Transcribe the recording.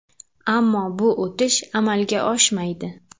Ammo bu o‘tish amalga oshmaydi.